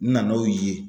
N na n'o ye